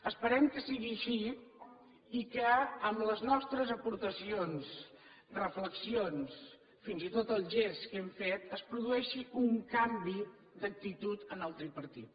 esperem que sigui així i que amb les nostres aportacions reflexions fins i tot el gest que hem fet es produeixi un canvi d’actitud en el tripartit